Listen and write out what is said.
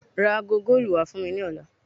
Ra aago góòlù wá fún mi lọ́la.